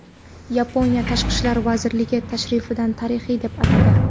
Yaponiya tashqi ishlar vazirligi tashrifni tarixiy deb atadi.